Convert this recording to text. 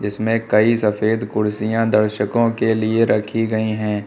इसमें कई सफेद कुर्सियां दर्शकों के लिए रखी गई है।